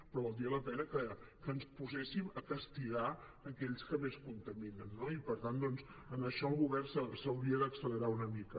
però valdria la pena que ens poséssim a castigar aquells que més contaminen no i per tant doncs en això el govern s’hauria d’accelerar una mica